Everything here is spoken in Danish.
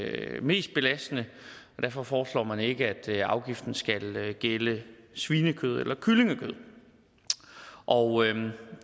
er det mest belastende derfor foreslår man ikke at afgiften skal gælde svinekød eller kyllingekød og